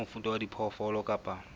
wa mofuta wa diphoofolo kapa